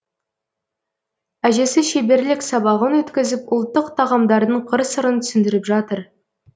әжесі шеберлік сабағын өткізіп ұлттық тағамдардың қыр сырын түсіндіріп жатыр